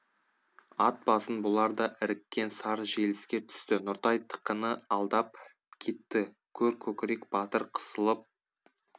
ат басын бұлар да іріккен сар желіске түсті нұртай тықыны алдап кетті көр көкірек батыр қысылып